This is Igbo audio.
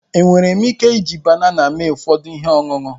Enwere m ike iji banana mee ụfọdụ ihe ọṅụṅụ?